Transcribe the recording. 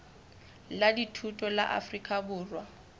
la dithuto la afrika borwa